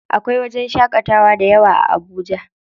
Akwai wajen shaƙatawa dayawa a Abuja.